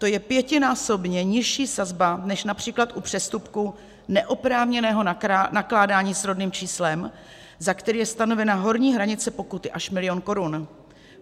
To je pětinásobně nižší sazba než například u přestupku neoprávněného nakládání s rodným číslem, za které je stanovena horní hranice pokuty až milion korun.